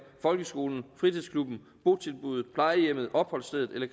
folkeskolen i fritidsklubben i botilbuddet på plejehjemmet på opholdsstedet eller